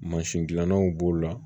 Mansin dilanlaw b'o la